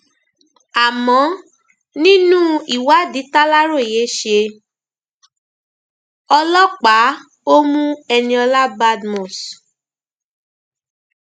àmọ nínú ìwádìí tàlàròyé ṣe ọlọpàá ó mú eniola badmus